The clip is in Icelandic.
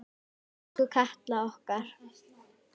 Elsku Katla okkar.